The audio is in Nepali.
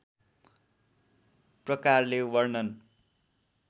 प्रकारले वर्णन